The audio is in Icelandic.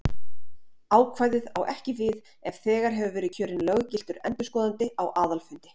Ákvæðið á ekki við ef þegar hefur verið kjörinn löggiltur endurskoðandi á aðalfundi.